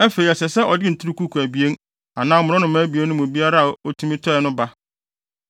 Afei, ɛsɛ sɛ ɔde nturukuku abien anaa mmorɔnoma abien no mu biara a otumi tɔe no ba.